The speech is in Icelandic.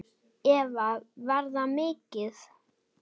Eva: Var það mikið?